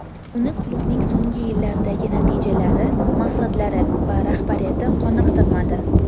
Uni klubning so‘nggi yillardagi natijalari, maqsadlari va rahbariyati qoniqtirmadi.